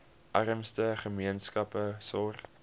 armste gemeenskappe sorg